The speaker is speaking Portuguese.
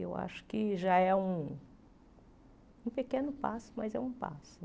Eu acho que já é um um pequeno passo, mas é um passo.